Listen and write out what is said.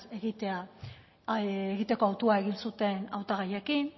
egiteko hautua egin zuten hautagaiekin